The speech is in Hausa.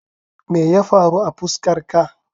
Meye faru a fuskar ka?